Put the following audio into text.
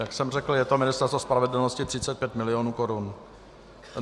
Jak jsem řekl, je to Ministerstvo spravedlnosti, 35 milionů korun.